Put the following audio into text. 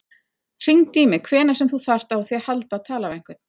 Hringdu í mig hvenær sem þú þarft á því að halda að tala við einhvern.